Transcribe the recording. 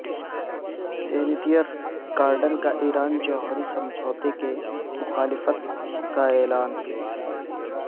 senator Cardin کا Iran جوہری سمجھوتے کی مخالفت کا اعلان